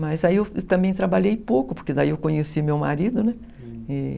Mas aí eu também trabalhei pouco, porque daí eu conheci meu marido, né? e...